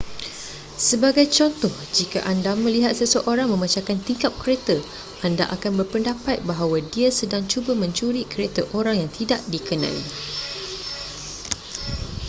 sebagai contoh jika anda melihat seseorang memecahkan tingkap kereta anda akan berpendapat bahawa dia sedang cuba mencuri kereta orang yang tidak dikenali